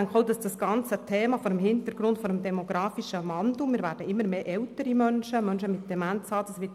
Wir denken auch, dass dieses ganze Thema vor